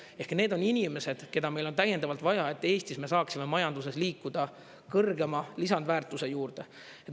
Ehk, need on inimesed, keda meil on täiendavalt vaja, et Eestis me saaksime majanduses liikuda kõrgema lisandväärtuse juurde.